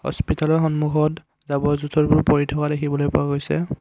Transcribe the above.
হস্পিতালৰ সন্মুখত জাৱৰ জোথৰবোৰ পৰি থকা দেখিবলৈ পোৱা গৈছে।